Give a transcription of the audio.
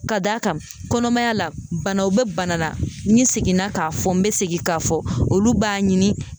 Ka d'a kan, kɔnɔmaya la, banaw bɛ bana la, ni seginna k'a fɔ n bɛ segin k'a fɔ olu b'a ɲini